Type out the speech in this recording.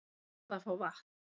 Hann varð að fá vatn.